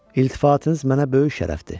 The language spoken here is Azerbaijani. İltifatınız mənə böyük şərəfdir.